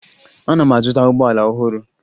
Ana m azụta ụgbọala ọhụrụ